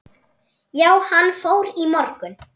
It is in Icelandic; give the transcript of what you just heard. Já, hann fór í morgun